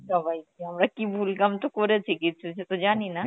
সবাইকে আমরা কি ভুল কাম তো করেছি কিছু সে তো জানি না